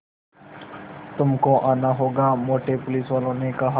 तुमको आना होगा मोटे पुलिसवाले ने कहा